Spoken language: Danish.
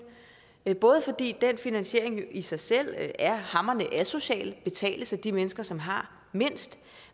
både fordi den finansiering i sig selv er hamrende asocial og betales af de mennesker som har mindst